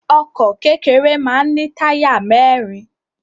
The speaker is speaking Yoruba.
Ọkọ̀ kékeré máa ń ní táyà mẹ́rin.